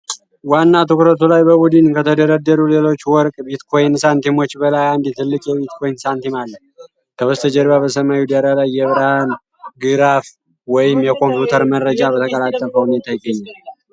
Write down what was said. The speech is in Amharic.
ዋና ትኩረቱ ላይ በቡድን ከተደረደሩ ሌሎች የወርቅ ቢትኮይን ሳንቲሞች በላይ አንድ ትልቅ የቢትኮይን ሳንቲም አለ። ከበስተጀርባ በሰማያዊ ዳራ ላይ የብርሃን ግራፍ ወይም የኮምፒውተር መረጃ በተቀላጠፈ ሁኔታ ይገኛል።